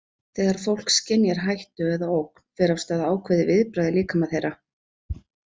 Þegar fólk skynjar hættu eða ógn fer af stað ákveðið viðbragð í líkama þeirra.